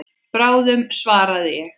Bráðum svaraði ég.